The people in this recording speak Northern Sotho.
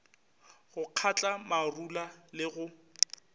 go kgatla marula le go